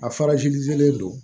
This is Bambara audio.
A fara len don